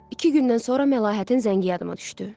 İki gündən sonra Məlahətin zəngi yadıma düşdü.